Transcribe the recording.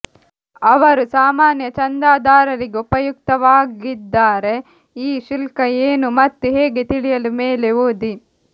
ಅವರು ಸಾಮಾನ್ಯ ಚಂದಾದಾರರಿಗೆ ಉಪಯುಕ್ತವಾಗಿದ್ದಾರೆ ಈ ಶುಲ್ಕ ಏನು ಮತ್ತು ಹೇಗೆ ತಿಳಿಯಲು ಮೇಲೆ ಓದಿ